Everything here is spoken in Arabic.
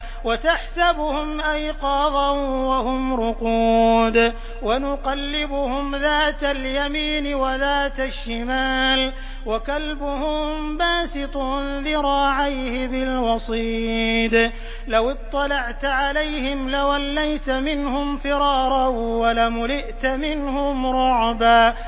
وَتَحْسَبُهُمْ أَيْقَاظًا وَهُمْ رُقُودٌ ۚ وَنُقَلِّبُهُمْ ذَاتَ الْيَمِينِ وَذَاتَ الشِّمَالِ ۖ وَكَلْبُهُم بَاسِطٌ ذِرَاعَيْهِ بِالْوَصِيدِ ۚ لَوِ اطَّلَعْتَ عَلَيْهِمْ لَوَلَّيْتَ مِنْهُمْ فِرَارًا وَلَمُلِئْتَ مِنْهُمْ رُعْبًا